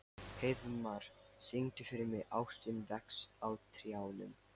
Heiðmar, syngdu fyrir mig „Ástin vex á trjánum“.